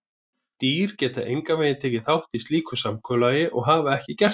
Dýr geta engan veginn tekið þátt í slíku samkomulagi og hafa ekki gert það.